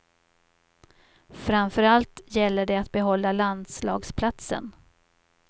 Framför allt gäller det att behålla landslagsplatsen.